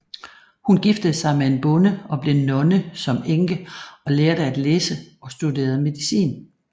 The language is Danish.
Hun giftede sig med en bonde og blev nonne som enke og lærte at læse og studerede medicin